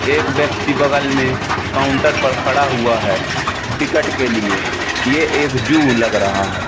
एक व्यक्ति बगल में काउंटर पर खड़ा हुआ है टिकट के लिए ये एक जू लग रहा है।